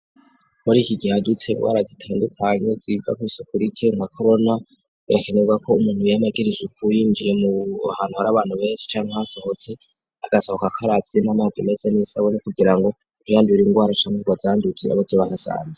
Uri iki giheadutse warazitandukanyo zigagusa ukura ike nka korona birakenerwa ko umuntu iyamagirizuku uyinjiye mu hantu hari abantu benshi cane hasohotse agasohoka akaravyima amazi meze n'isaboni kugira ngo tihandubira ingwara canuzwa azanduze abo zibahasanze.